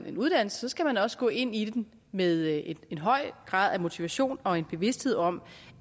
en uddannelse skal man også gå ind i den med en høj grad af motivation og en bevidsthed om